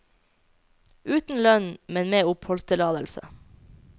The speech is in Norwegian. Uten lønn, men med oppholdtillatelse.